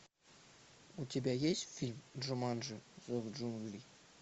у тебя есть фильм джуманджи зов джунглей